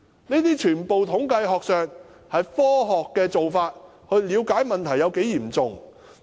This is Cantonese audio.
這些全都是統計學上的科學做法，以了解問題有多嚴重。